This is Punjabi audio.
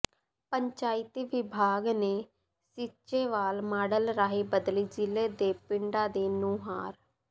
ਪੰਚਾਇਤੀ ਵਿਭਾਗ ਨੇ ਸੀਚੇਵਾਲ ਮਾਡਲ ਰਾਹੀਂ ਬਦਲੀ ਜ਼ਿਲ੍ਹੇ ਦੇ ਪਿੰਡਾਂ ਦੀ ਨੁਹਾਰ